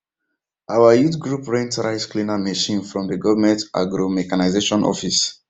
our youth group rent rice cleaner machine from dey government agromechanization office